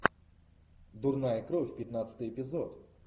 дурная кровь пятнадцатый эпизод